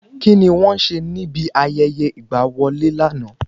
Kíni wọ́n ṣe níbi ayẹyẹ ìgbà wọlé lànà?